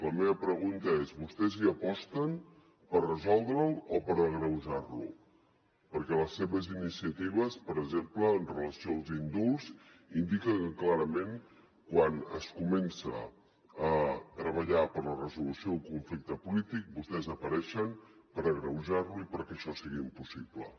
la meva pregunta és vostès hi aposten per resoldre’l o per agreujar lo perquè les seves iniciatives per exemple amb relació als indults indiquen que clarament quan es comença a treballar per la resolució del conflicte polític vostès apareixen per agreujar lo i perquè això sigui impossible